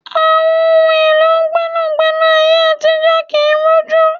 Àwọn ohun èlò gbẹ́nàgbẹ́nà ayé àtijó kii rújú